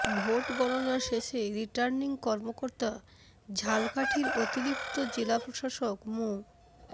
vote গণনা শেষে returning কর্মকর্তা ঝালকাঠির অতিরিক্ত জেলা প্রশাসক মো